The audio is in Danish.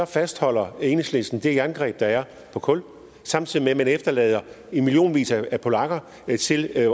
fastholder enhedslisten det jerngreb der er på kul samtidig med at man efterlader i millionvis af polakker selv at